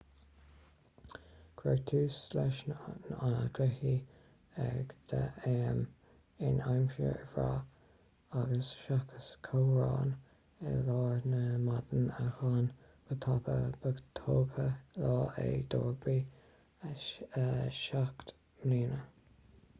cuireadh tús leis na cluichí ag 10:00 am in aimsir bhreá agus seachas ceobhrán i lár na maidine a ghlan go tapa ba togha lá é do rugbaí 7 mbliana